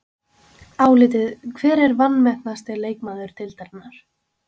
Álitið: Hver er vanmetnasti leikmaður deildarinnar?